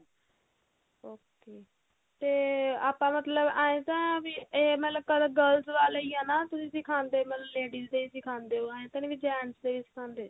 okay ਤੇ ਆਪਾਂ ਮਤਲਬ ਆਏੰ ਤਾਂ ਵੀ ਇਹ ਮਤਲਬ ਕੀ girls ਵਾਲਾ ਹੀ ਆ ਨਾ ਤੁਸੀਂ ਸਿਖਾਂਦੇ ਮਤਲਬ ladies ਦੇ ਸਿਖਾਂਦੇ ਓ ਐਂ ਤਾਂ ਨਹੀਂ ਵੀ gents ਦੇ ਨੀ ਸਿਖਾਂਦੇ